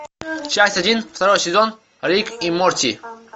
часть один второй сезон рик и морти